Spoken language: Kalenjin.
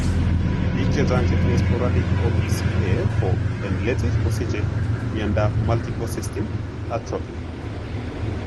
Pik chechang chetinye sporadic OPCA ko en let kosiche miondap multiple system atrophy .